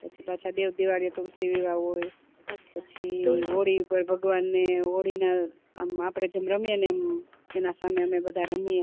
પછી પાછા દેવ દિવાળી એ તુલસી વિવાહ હોય પછી હોળી ઉપર ભગવાન ને હોળી ના આમ આપડે જેમ રમીએ ને એમ એના સામે અમે બધા રમીએ